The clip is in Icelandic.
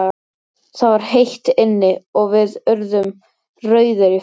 Það var heitt inni, og við urðum rauðir í framan.